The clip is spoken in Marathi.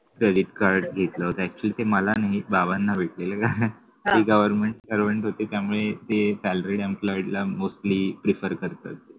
credit card घेतलं होत actually ते मला नाही बाबांना भेटलेलं ते government servant होते त्यामुळे ते salary employed ला mostly prefer करतात